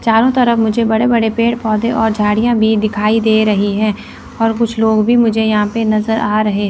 चारो तरफ मुझे बड़े बड़े पेड़ पौधे और झाड़ियां भी दिखाई दे रही है और कुछ लोग भी मुझे यहा पे नजर आ रहे--